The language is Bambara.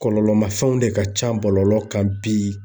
Kɔlɔlɔ ma fɛnw de ka ca bɔlɔlɔ kan bi.